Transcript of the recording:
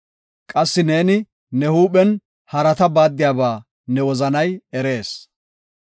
Qassi neeni ne huuphen harata baaddiyaba ne wozanay erees.